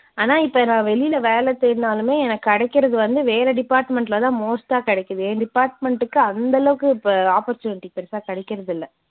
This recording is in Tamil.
ஆனா இப்ப நான் வெளில வேலை தேடினாலுமே எனக்குக் கிடைக்கிறது வந்து வேற department ல தான் most ஆ கிடைக்குது. என் department க்கு அந்த அளவுக்கு இப்ப opportunity பெருசா கிடைக்கிறதில்லை.